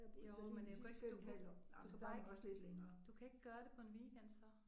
Jo men jeg kunne ikke du kunne du kan bare ikke du kan ikke gøre det på en weekend så